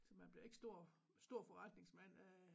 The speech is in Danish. Altså man bliver ikke stor stor forretningsmand af